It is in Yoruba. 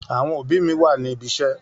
Àwọn òbí mi wà ní ibiṣẹ́.